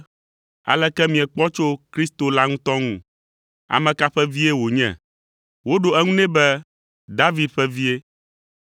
“Aleke miekpɔ tso Kristo la ŋutɔ ŋu? Ame ka ƒe vie wònye?” Woɖo eŋu nɛ be, “David ƒe vie!”